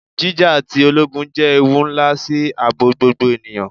Jija ti ologun jẹ ewu nla si aabo gbogbo eniyan